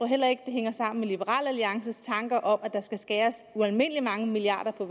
heller ikke det hænger sammen med liberal alliances tanker om at der skal skæres ualmindelig mange milliarder